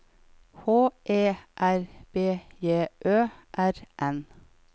H E R B J Ø R N